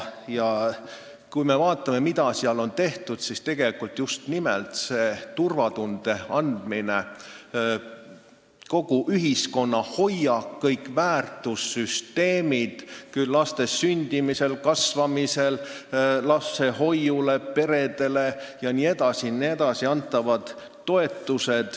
Ja kui me vaatame, mida seal on tehtud, siis just nimelt loodud seda turvatunnet – kogu ühiskonna hoiak, kõik väärtussüsteemid, laste sündimisel, kasvamisel ja lapsehoiuks peredele antavad toetused jne on selle huvides.